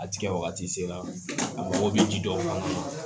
A tigɛ wagati sela a mago be ji dɔw kan